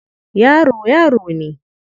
Yaro, yaro ne.